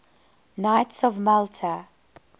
knights of malta